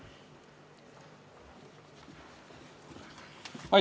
Palun!